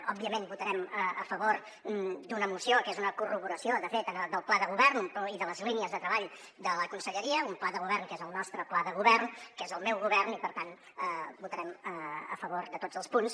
òbviament votarem a favor d’una moció que és una corroboració de fet del pla de govern i de les línies de treball de la conselleria un pla de govern que és el nostre pla de govern que és del meu govern i per tant votarem a favor de tots els punts